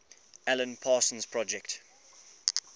alan parsons project